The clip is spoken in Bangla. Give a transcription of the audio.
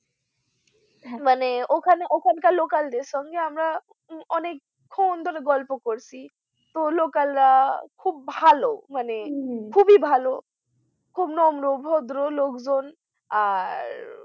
মানে ওখান কার local দের সঙ্গে আমরা অনেক্ষন ধরে গল্প করছি তো local রা খুব ভালো মানে খুবই ভালো খুব নম্র ভদ্র লোকজন আর